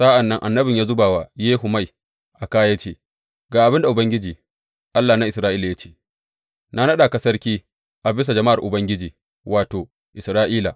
Sa’an nan annabin ya zuba wa Yehu mai a kā, ya ce, Ga abin da Ubangiji, Allah na Isra’ila ya ce, Na naɗa ka sarki a bisa jama’ar Ubangiji, wato, Isra’ila.